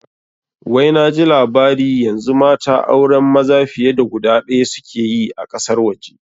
Wai naji labari yanzu mata auren maza fiye da guda ɗaya suke yi a ƙasar waje